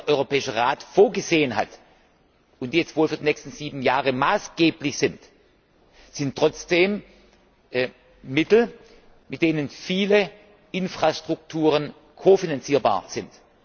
EUR, die der Europäische Rat vorgesehen hat und die jetzt wohl für die nächsten sieben Jahre maßgeblich sind, sind trotzdem Mittel, mit denen viele Infrastrukturen kofinanzierbar sind.